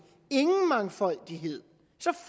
ingen mangfoldighed